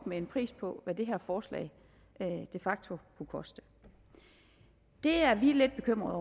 med en pris på hvad det her forslag de facto kunne koste det er vi lidt bekymrede